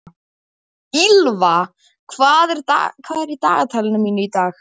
Ýlfa, hvað er í dagatalinu mínu í dag?